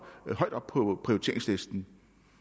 højt op på prioriteringslisten